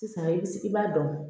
Sisan i bi i b'a dɔn